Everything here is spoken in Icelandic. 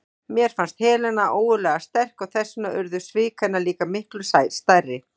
Mér fannst Helena ógurlega sterk og þess vegna urðu svik hennar líka miklu stærri.